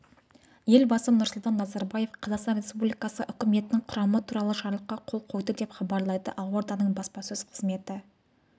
елбасы нұрсұлтан назарбаев қазақстан республикасы үкіметінің құрамы туралы жарлыққа қол қойды деп хабарлайды ақорданың баспасөз қызметі